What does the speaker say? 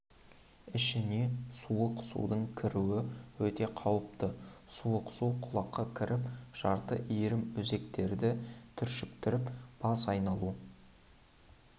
ішіне суық судың кіруі өте қауіпті суық су құлаққа кіріп жарты иірім өзектерді түршіктіріп бас айналу